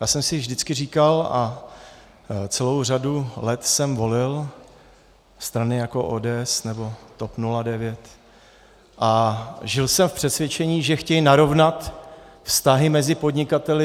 Já jsem si vždycky říkal, a celou řadu let jsem volil strany jako ODS nebo TOP 09 a žil jsem v přesvědčení, že chtějí narovnat vztahy mezi podnikateli.